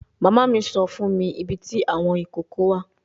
Mama mi sọ fun mi ibiti awọn ikoko wa